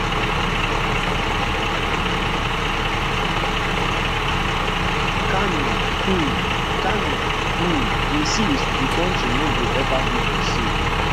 carney um carney um insist di country no go ever be for sale